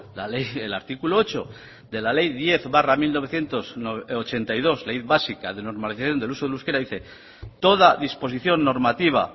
la ley el artículo ocho de la ley diez barra mil novecientos ochenta y dos ley básica de normalización del uso del euskera dice toda disposición normativa